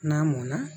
N'a mɔnna